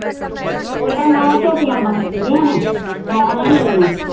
ਓਦਾਂ ਨੋ ਝੋਟੀਆਂ ਬਣ ਗਈਆ ਨੇ ਨੋ ਨੇ ਮੇਰੀਆਂ।